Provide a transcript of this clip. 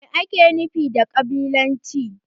Mai ake nufi da ƙabilanci?